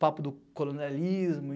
Papo do colonialismo.